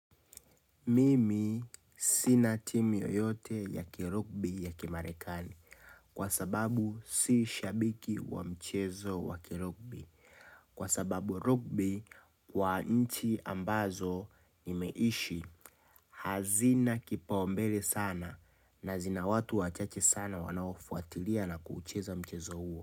Mimi sina timu yoyote ya kirokbi ya kimarekani kwa sababu si shabiki wa mchezo wa kirokbi Kwa sababu rokbi wa inchi ambazo imeishi hazina kipaumbele sana na zina watu wachache sana wanaofuatilia na kuucheza mchezo huo.